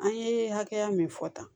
An ye hakɛya min fɔ tan